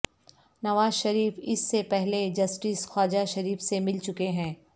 نواز شریف اس سے پہلے جسٹس خواجہ شریف سے مل چکے ہیں